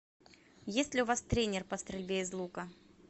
есть ли у вас тренер по стрельбе из лука